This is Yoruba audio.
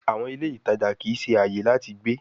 àwọn ilé ìtàjà kìí ṣe ààyè láti gbé.